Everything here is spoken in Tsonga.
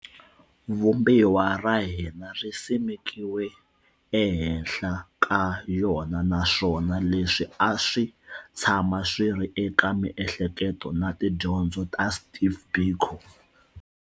Vumbiwa ra hina ri simekiweke ehenhla ka yona naswona leswi a swi tshama swi ri eka miehleko na tidyondzo ta Steve Biko.